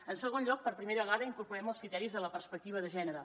en segon lloc per primera vegada hi incorporem els criteris de la perspectiva de gènere